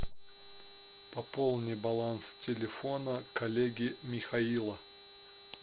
пополни баланс телефона коллеги михаила